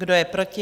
Kdo je proti?